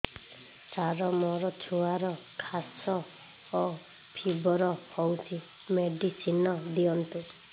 ସାର ମୋର ଛୁଆର ଖାସ ଓ ଫିବର ହଉଚି ମେଡିସିନ ଦିଅନ୍ତୁ